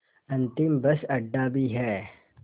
अंतिम बस अड्डा भी है